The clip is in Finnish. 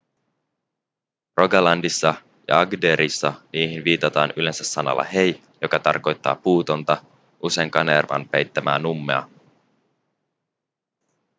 rogalandissa ja agderissa niihin viitataan yleensä sanalla hei joka tarkoittaa puutonta usein kanervan peittämää nummea